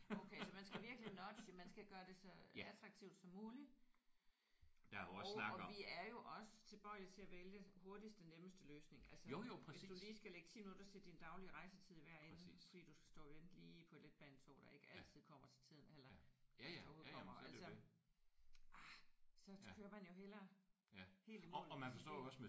Okay så man skal virkelig nudge. Man skal gøre det så attraktivt som muligt. Og vi er jo også tilbøjelige til at vælge hurtigste nemmeste løsning. Altså hvis du lige skal lægge 10 minutter til din daglige rejsetid i hver ende fordi du skal stå og vente lige på et letbanetog der ikke altid kommer til tiden eller hvis det overhovedet kommer så kører man jo hellere helt i mål med sin bil